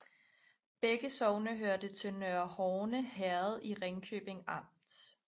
Begge sogne hørte til Nørre Horne Herred i Ringkøbing Amt